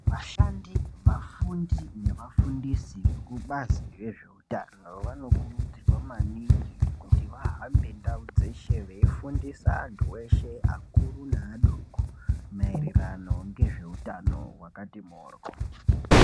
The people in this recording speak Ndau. Vashandi ,vafundi nevafundisi vekubazi rezveutano vanokurudzirwa maningi kuti vahambe ndau dzeshe veifundisa vanhu veshe vakuru nevadoko maererano ngezveutano hwakati mhoryo.